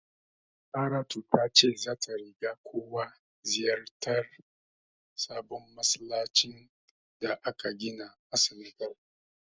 Saratu ta ce zata riga kowa ziyartar sabon masallacin da aka gina a Senegal.